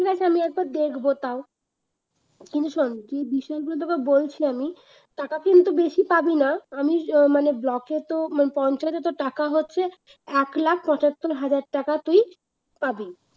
ঠিক আছে আমি একবার দেখব তাও কিন্তু শোন যে বিষয়গুলো তোকে বলছি আমি টাকা কিন্তু বেশি পাবি না আমি আহ মানে block এ তো মানে পঞ্চায়েতে তোর টাকা হচ্ছে এক লাখ পঁচাত্তর হাজার টাকা তুই পাবি